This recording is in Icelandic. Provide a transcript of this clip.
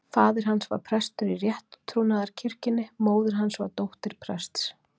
Faðir hans var prestur í rétttrúnaðarkirkjunni, móðir hans var dóttir prests.